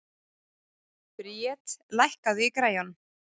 Bríet, lækkaðu í græjunum.